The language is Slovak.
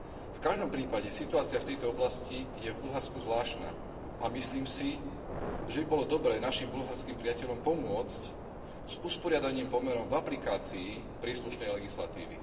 V každom prípade situácia v tejto oblasti je v Bulharsku zvláštna a myslím si, že by bolo dobré našim bulharským priateľom pomôcť s usporiadaním pomerov v aplikácii príslušnej legislatívy.